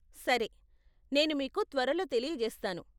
సరే, నేను మీకు త్వరలో తెలియజేస్తాను.